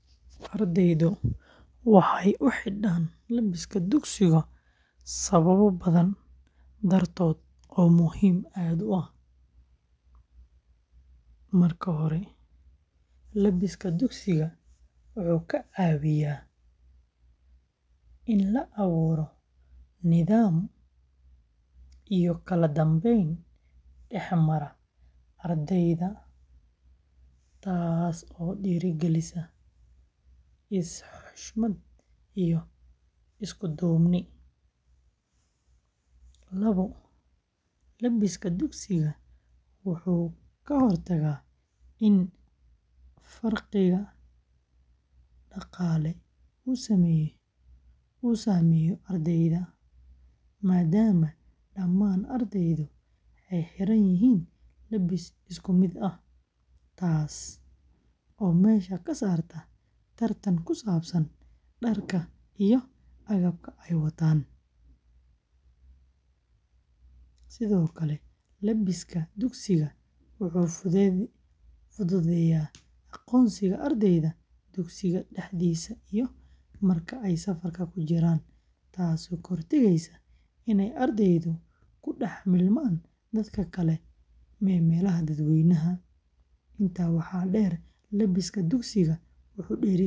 Ardaydu waxay u xidhaan labiska dugsiga sababo badan dartood oo muhiim ah. Marka hore, labiska dugsiga wuxuu ka caawiyaa in la abuuro nidaam iyo kala dambeyn dhex mara ardayda, taas oo dhiirrigelisa is-xushmad iyo isku-duubni. Labo, labiska dugsiga wuxuu ka hortagaa in farqiga dhaqaale uu saameeyo ardayda, maadaama dhammaan ardaydu xidhan yihiin labis isku mid ah, taas oo meesha ka saarta tartan ku saabsan dharka iyo agabka ay wataan. Sidoo kale, labiska dugsiga wuxuu fududeeyaa aqoonsiga ardayda dugsiga dhexdiisa iyo marka ay safarka ku jiraan, taasoo ka hortagaysa inay ardaydu ku dhex-milmaan dadka kale meelaha dadweynaha. Intaa waxaa dheer, labiska dugsiga wuxuu dhiirrigeliyaa xirfadda shaqo.